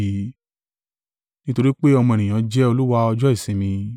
Nítorí pé Ọmọ Ènìyàn jẹ́ Olúwa ọjọ́ ìsinmi.”